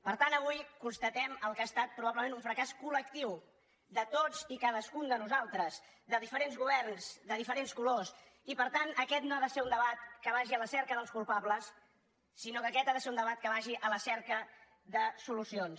per tant avui constatem el que ha estat probablement un fracàs colde nosaltres de diferents governs de diferents colors i per tant aquest no ha de ser un debat que vagi a la cerca dels culpables sinó que aquest ha de ser un debat que vagi a la cerca de solucions